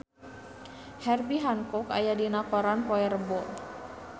Herbie Hancock aya dina koran poe Rebo